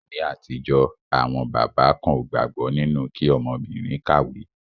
Ní àtijọ́, àwọn bàbá kan ó gbàgbọ́ nínu kí ọmọbìrin kàwé.